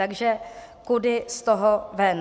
Takže kudy z toho ven?